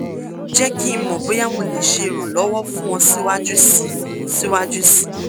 jẹ ki n mọ boya mo le ṣe iranlọwọ fun ọ siwaju sii siwaju sii